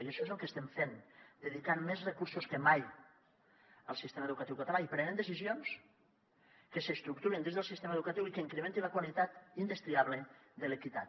i això és el que estem fent dedicant més recursos que mai al sistema educatiu català i prenent decisions que s’estructurin dins del sistema educatiu i que incrementin la qualitat indestriable de l’equitat